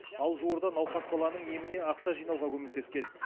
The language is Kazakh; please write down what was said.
ал жуырда науқас баланың еміне ақша жинауға көмектескен